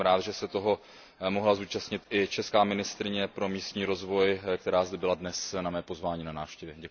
Jsem rád, že se toho mohla zúčastnit i česká ministryně pro místní rozvoj, která zde byla dnes na mé pozvání na návštěvě.